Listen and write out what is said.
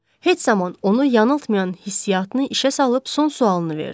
Heç zaman onu yanıltmayan hissiyatını işə salıb son sualını verdi.